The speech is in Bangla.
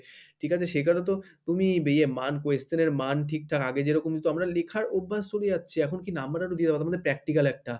ঠিক আছে সেখানে তো তুমি ইয়ে মান question এর মান ঠিকঠাক আগে যেরকম দিতো আমরা লেখার অভ্যাস চলে যাচ্ছে এখন কি number ও দিয়ে দেবো তোমাদের practical একটা